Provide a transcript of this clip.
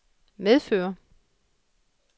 medfører